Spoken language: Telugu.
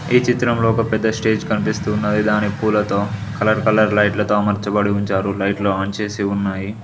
ఈ చిత్రంలో ఒక పెద్ద స్టేజ్ కనిపిస్తూ ఉన్నది దాని పూలతో కలర్ కలర్ లైట్లు తో అమర్చబడి ఉంచారు లైట్లు ఆన్ చేసి ఉన్నాయి.